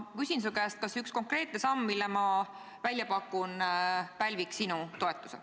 Ma küsin su käest, kas üks konkreetne samm, mille ma välja pakun, pälviks sinu toetuse.